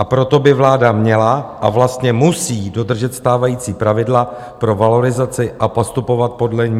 A proto by vláda měla a vlastně musí dodržet stávající pravidla pro valorizaci a postupovat podle ní.